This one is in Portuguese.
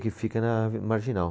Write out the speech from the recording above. Que fica na ave, Marginal.